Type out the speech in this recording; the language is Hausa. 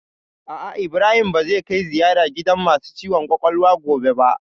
A'a, Ibrahim ba zai kai ziyara gidan masu ciwon kwakwalwa gobe ba